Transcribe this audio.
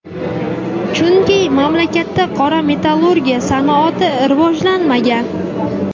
Chunki mamlakatda qora metallurgiya sanoati rivojlanmagan.